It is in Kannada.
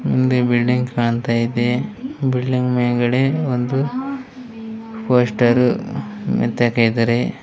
ಮುಂದೆ ಬಿಲ್ಡಿಂಗ್ ಕಾಣ್ತಾ ಐತೆ ಬಿಲ್ಡಿಂಗ್ ಮೇಲ್ಗಡೆ ಒಂದು ಪೋಸ್ಟರ್ --